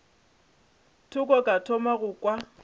thoko ka thoma go kwa